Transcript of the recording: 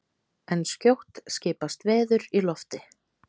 En skjótt skipast veður í lofti!